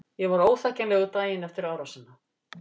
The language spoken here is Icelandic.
Ég var óþekkjanlegur daginn efir árásina.